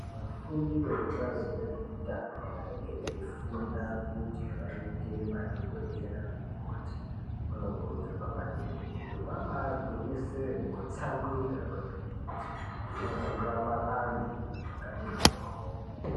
Vafundi vekubazi rezveutano vanenge veifunda kuti vaite madhokodheya nana mukoti vanokurudzirwa maningi kuti vabagwinyisire nekutsamwirira kwemene kuti vazorapa antu zvakati moryo.